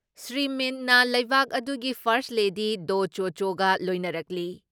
ꯁ꯭ꯔꯤ ꯃꯤꯟꯠꯅ ꯂꯩꯕꯥꯛ ꯑꯗꯨꯒꯤ ꯐꯥꯔꯁ ꯂꯦꯗꯤ ꯗꯣ ꯆꯣ ꯆꯣꯒ ꯂꯣꯏꯅꯔꯛꯂꯤ ꯫